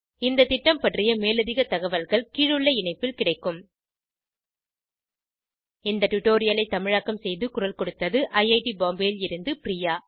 இந்த திட்டம் பற்றிய மேலதிக தகவல்கள் கீழுள்ள இணைப்பில் கிடைக்கும் இந்த டுடோரியலை தமிழாக்கம் செய்து குரல் கொடுத்தது ஐஐடி பாம்பேவில் இருந்து பிரியா